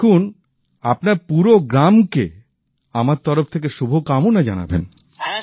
দেখুন আপনার পুরো গ্রামকে আমার তরফ থেকে শুভকামনা জানাবেন